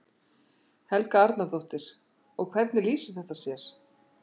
Helga Arnardóttir: Og hvernig lýsir þetta sér?